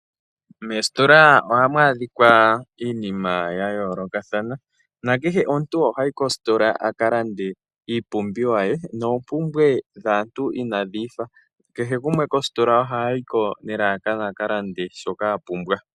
Moositola ohamu adhika iinima ya yoolokathana, nakehe omuntu ohayi kositola opo akalande iipumbiwa ye. Oompumbwe dhaantu inaadhiifa, kehe gumwe kositola ohayiko akalande shoka apumbwa.